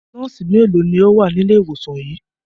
Nọ́ọ́sì mélòó ni ó wà ní ilé-ìwòsàn yìí?